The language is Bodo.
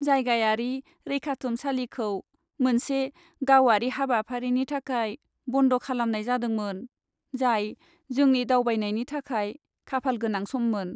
जायगायारि रैखाथुमसालिखौ मोनसे गावारि हाबाफारिनि थाखाय बन्द खालामनाय जादोंमोन, जाय जोंनि दावबायनायनि थाखाय खाफालगोनां सममोन।